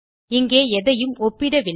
இங்கே எதையும் ஒப்பிடவில்லை